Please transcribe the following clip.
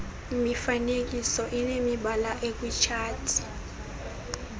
mifanekiso inemibala ekwitshati